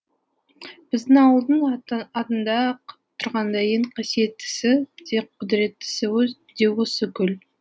біздің ауылдың атында ақ тұрғандай ең қаситеттісі де құдіреттісі де осы көл